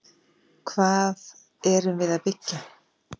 Hvað erum við að byggja?